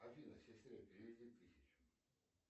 афина сестре переведи тысячу